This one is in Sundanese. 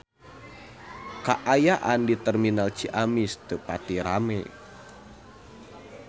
Kaayaan di Terminal Ciamis teu pati rame